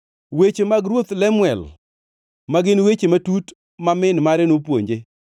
Weche mag Ruoth Lemuel, ma gin weche matut ma min mare nopuonje.